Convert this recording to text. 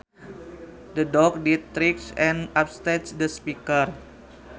The dog did tricks and upstaged the speaker